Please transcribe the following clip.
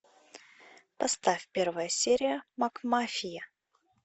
поставь первая серия макмафия